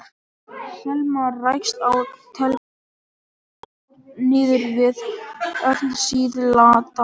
Selma rakst á telpukorn niður við höfn síðla dags.